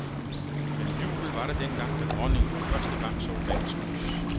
Men jubel var der dengang, da dronningen for første gang så dagens lys.